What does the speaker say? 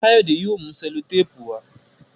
Kayode yóò mú sellotape wá.